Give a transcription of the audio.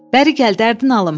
Bəri gəl, dərdin alım.